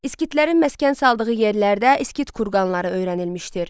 Skitlərin məskən saldığı yerlərdə skit kurqanları öyrənilmişdir.